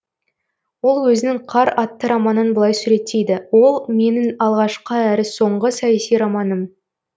ол өзінің қар атты романын былай суреттейді ол менің алғашқы әрі соңғы саяси романым